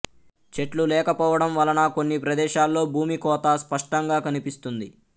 చెట్లు లేకపోవడం వలన కొన్ని ప్రదేశాల్లో భూమి కోత స్పష్టంగా కనిపిస్తుంది